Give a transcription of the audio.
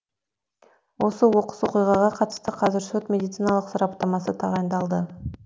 осы оқыс оқиғаға қатысты қазір сот медициналық сараптамасы тағайындалды